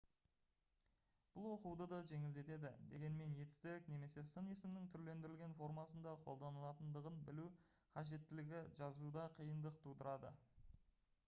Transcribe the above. бұл оқуды да жеңілдетеді дегенмен етістік немесе сын есімнің түрлендірілген формасында қолданылатындығын білу қажеттілігі жазуда қиындық тудырады